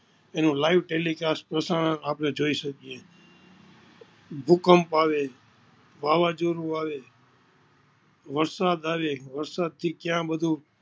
એનું live telicast પ્રસારણ આપણે જોઈ સકીય છીએ, ભૂકંપ આવે, વવાવજોડું આવે, વરસાદ આવે વરસાદ થી કયા બધુ